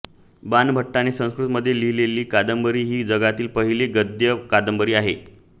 बाणभट्टाने संस्कृतमध्ये लिहिलेली कादंबरी ही जगातली पहिली गद्य कादंबरी आहे